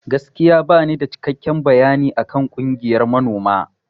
Gaskiya banida cikekken bayani akan ƙungiyan manoma.